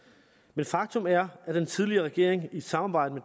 men faktum er at den tidligere regering i et samarbejde